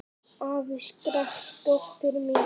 Afi! skrækti dóttir mín.